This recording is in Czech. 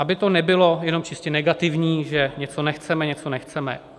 Aby to nebylo jenom čistě negativní, že něco nechceme, něco nechceme.